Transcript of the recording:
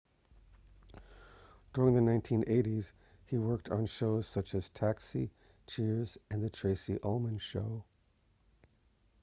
during the 1980s he worked on shows such as taxi cheers and the tracy ullman show